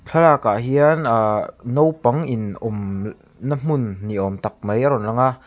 thlalak ah hian ah naupang in awm na hmun ni awm tak mai a rawn lang a.